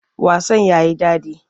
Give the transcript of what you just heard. Wasan ya yi daɗi.